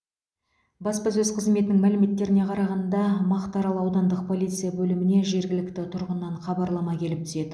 баспасөз қызметінің мәліметтеріне қарағанда мақтаарал аудандық полиция бөліміне жергілікті тұрғыннан хабарлама келіп түседі